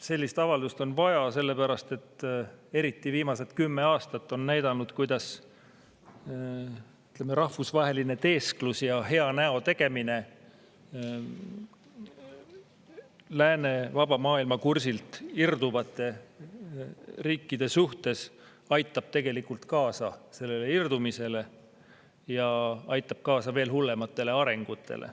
Sellist avaldust on vaja sellepärast, et eriti viimased kümme aastat on näidanud, kuidas rahvusvaheline teesklus ja hea näo tegemine, kui tegu on lääne vaba maailma kursilt irduvate riikidega, aitab kaasa sellele irdumisele ja aitab kaasa veel hullematele arengutele.